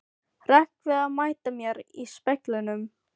Hrekk við að mæta mér í speglinum.